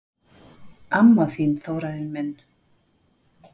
Amma þín, Þórarinn minn.